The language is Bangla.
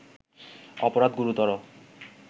অপরাধ গুরুতর